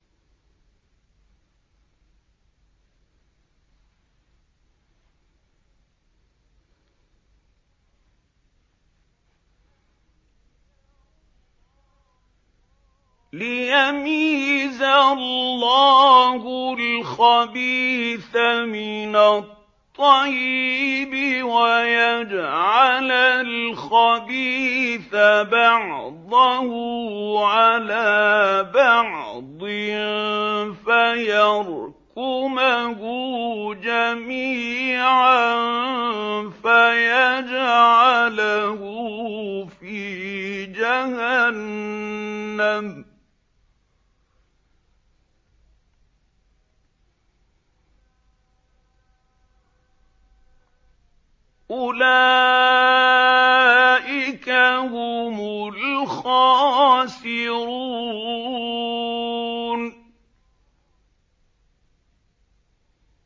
لِيَمِيزَ اللَّهُ الْخَبِيثَ مِنَ الطَّيِّبِ وَيَجْعَلَ الْخَبِيثَ بَعْضَهُ عَلَىٰ بَعْضٍ فَيَرْكُمَهُ جَمِيعًا فَيَجْعَلَهُ فِي جَهَنَّمَ ۚ أُولَٰئِكَ هُمُ الْخَاسِرُونَ